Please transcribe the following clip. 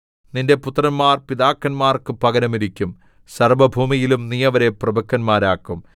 നിന്റെ പുത്രന്മാർ പിതാക്കന്മാർക്കു പകരം ഇരിക്കും സർവ്വഭൂമിയിലും നീ അവരെ പ്രഭുക്കന്മാരാക്കും